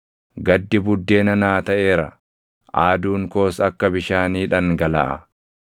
Gaddi buddeena naa taʼeera; aaduun koos akka bishaanii dhangalaʼa.